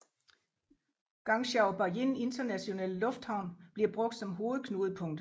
Guangzhou Baiyun Internationale Lufthavn bliver brugt som hovedknudepunkt